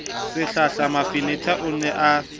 sehlahla mafenetha o ne a